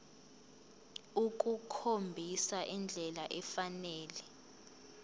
ukukhombisa indlela efanele